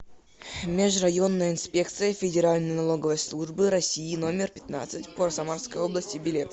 межрайонная инспекция федеральной налоговой службы россии номер пятнадцать по самарской области билет